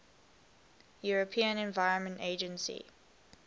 european environment agency